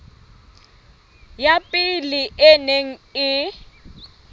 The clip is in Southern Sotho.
ya pele e neng e